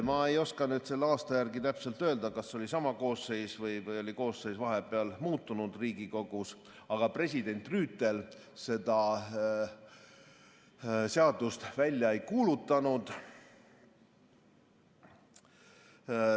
Ma ei oska selle aasta järgi täpselt öelda, kas siis oli sama koosseis või oli Riigikogus koosseis vahepeal muutunud, aga president Rüütel seda seadust välja ei kuulutanud.